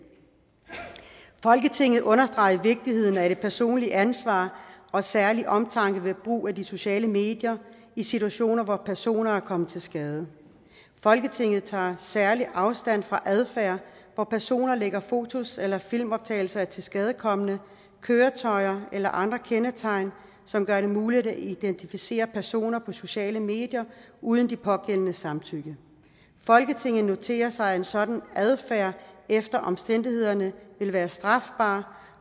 folketinget understreger vigtigheden af det personlige ansvar og særlig omtanke ved brug af de sociale medier i situationer hvor personer er kommet til skade folketinget tager særlig afstand fra adfærd hvor personer lægger fotos eller filmoptagelser af tilskadekomne køretøjer eller andre kendetegn som gør det muligt at identificere personer på sociale medier uden de pågældendes samtykke folketinget noterer sig at en sådan adfærd efter omstændighederne vil være strafbar